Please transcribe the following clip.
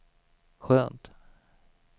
skönt